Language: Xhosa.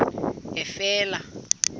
efele